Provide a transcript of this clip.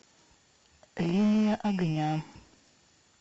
линия огня